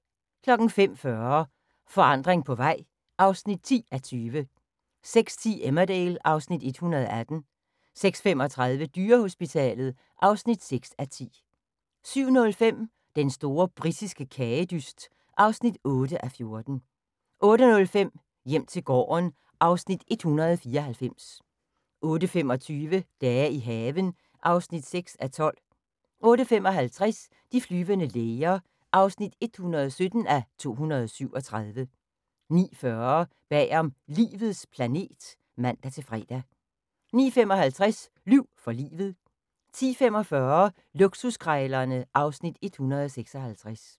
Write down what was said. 05:40: Forandring på vej (10:20) 06:10: Emmerdale (Afs. 118) 06:35: Dyrehospitalet (6:10) 07:05: Den store britiske kagedyst (8:14) 08:05: Hjem til gården (Afs. 194) 08:25: Dage i haven (6:12) 08:55: De flyvende læger (117:237) 09:40: Bagom Livets planet (man-fre) 09:55: Lyv for livet 10:45: Luksuskrejlerne (Afs. 156)